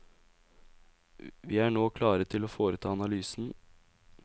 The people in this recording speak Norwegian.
Vi er nå klare til å foreta analysen.